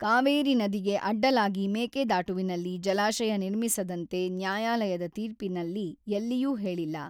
ಕಾವೇರಿ ನದಿಗೆ ಅಡ್ಡಲಾಗಿ ಮೇಕೆದಾಟುವಿನಲ್ಲಿ ಜಲಾಶಯ ನಿರ್ಮಿಸದಂತೆ ನ್ಯಾಯಾಲಯದ ತೀರ್ಪಿನಲ್ಲಿ ಎಲ್ಲಿಯೂ ಹೇಳಿಲ್ಲ.